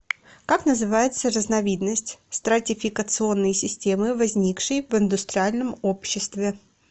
как называется разновидность стратификационной системы возникшей в индустриальном обществе